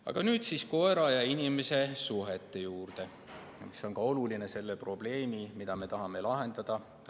Aga nüüd siis koera ja inimese suhete juurde, mis on oluline teema, et laiemalt mõista seda probleemi, mida me tahame lahendada.